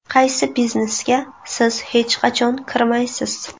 Qaysi biznesga siz hech qachon kirmaysiz?